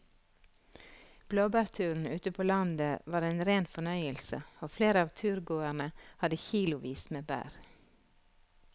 Blåbærturen ute på landet var en rein fornøyelse og flere av turgåerene hadde kilosvis med bær.